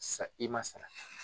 Sara i ma sara ta